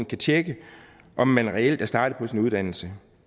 kan tjekke om man reelt er startet på sin uddannelse